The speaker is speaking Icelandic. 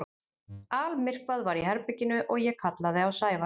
Almyrkvað var í herberginu og ég kallaði á Sævar.